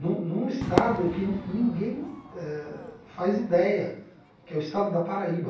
num num estado que ninguém eh faz ideia, que é o estado da Paraíba.